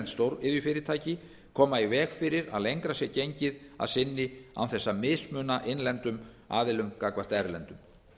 stóriðjufyrirtæki koma í veg fyrir að lengra sé gengið að sinni án þess að mismuna innlendum aðilum gagnvart erlendum